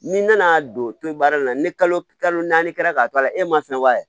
N'i nana don toyi baara in na ni kalo naani kɛra k'a to a la e ma fɛnɛ b'a